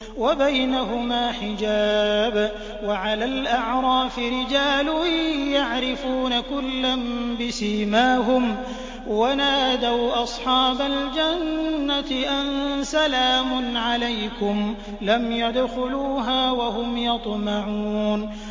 وَبَيْنَهُمَا حِجَابٌ ۚ وَعَلَى الْأَعْرَافِ رِجَالٌ يَعْرِفُونَ كُلًّا بِسِيمَاهُمْ ۚ وَنَادَوْا أَصْحَابَ الْجَنَّةِ أَن سَلَامٌ عَلَيْكُمْ ۚ لَمْ يَدْخُلُوهَا وَهُمْ يَطْمَعُونَ